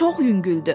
Çox yüngüldür.